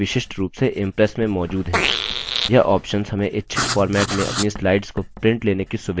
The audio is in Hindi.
यह options हमें इच्छित format में अपनी slides की prints लेने की सुविधा देते हैं